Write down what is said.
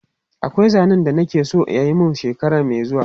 Akwai zanen da na ke so a yi mun shekara mai zuwa.